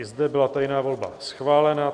I zde byla tajná volba schválena.